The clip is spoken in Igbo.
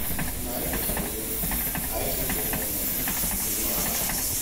Mgbe anyị kụchara ihe, anyị chụpụrụ ụmụ nnụnụ n'ime ala ahụ